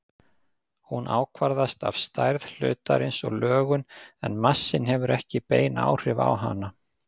Hún ákvarðast af stærð hlutarins og lögun en massinn hefur ekki bein áhrif á hana.